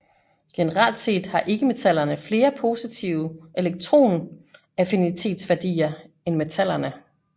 Generelt set har ikkemetallerne flere positive elektronaffinitetsværdier end metallerne